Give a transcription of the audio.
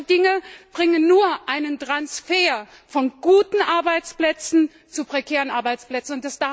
Solche Dinge bringen nur einen Transfer von guten Arbeitsplätzen zu prekären Arbeitsplätzen.